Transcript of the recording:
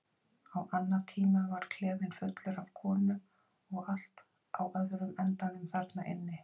Á annatímum var klefinn fullur af konum og allt á öðrum endanum þarna inni.